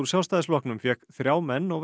Sjálfstæðisflokknum fékk þrjá menn og